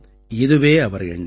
இதுவே அவர் எண்ணம்